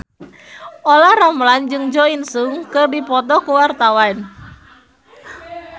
Olla Ramlan jeung Jo In Sung keur dipoto ku wartawan